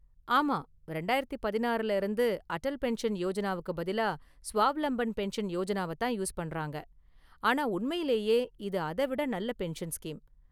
ஆமா, ரெண்டாயிரத்து பதினாறுல இருந்து அட்டல் பென்ஷன் யோஜனாவுக்கு பதிலா ஸ்வாவ்லம்பன் பென்ஷன் யோஜனாவ தான் யூஸ் பண்றாங்க. ஆனா உண்மையிலேயே இது அத விட நல்ல பென்ஷன் ஸ்கீம்.